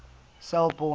selborne